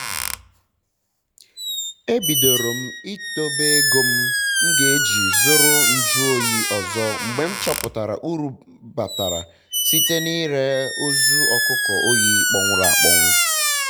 e bịdoro m ịdobe ego m ga-eji zụrụ nju oyi ọzọ mgbe m chọpụtara uru batara site n'ire ozu ọkụkọ oyi kpọnwụrụ